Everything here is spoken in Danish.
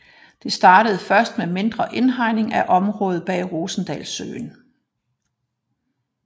Det startede først med mindre indhegning af området bag Rosendalssøen